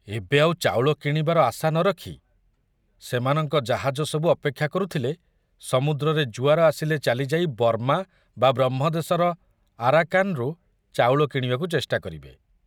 ଏବେ ଆଉ ଚାଉଳ କିଣିବାର ଆଶ ନରଖି ସେମାନଙ୍କ ଜାହାଜ ସବୁ ଅପେକ୍ଷା କରୁଥିଲେ ସମୁଦ୍ରରେ ଜୁଆର ଆସିଲେ ଚାଲିଯାଇ ବର୍ମା ବା ବ୍ରହ୍ମଦେଶର ଆରାକାନରୁ ଚାଉଳ କିଣିବାକୁ ଚେଷ୍ଟା କରିବେ।